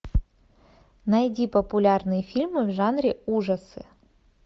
найди популярные фильмы в жанре ужасы